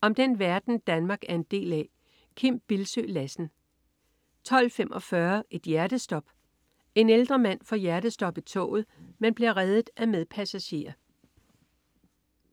Om den verden, Danmark er en del af. Kim Bildsøe Lassen 12.45 Et hjertestop. En ældre mand får hjertestop i toget, men bliver reddet af medpassagerer